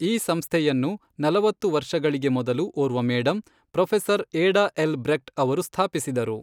ಈ ಸಂಸ್ಥೆಯನ್ನು ನಲವತ್ತು ವರ್ಷಗಳಿಗೆ ಮೊದಲು, ಓರ್ವ madam, professor Ada L Brecht ಅವರು ಸ್ಥಾಪಿಸಿದರು.